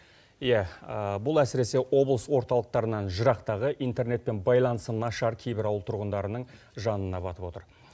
иә бұл әсіресе облыс орталықтарынан жырақтағы интернетпен байланысы нашар кейбір ауыл тұрғындарының жанына батып отыр